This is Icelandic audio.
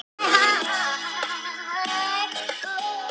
Konan hafði kropið upp við altarið.